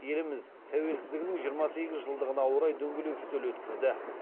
еліміз тәуелсіздігінің жиырма сегіз жылдығына орай дөңгелек үстел өткізді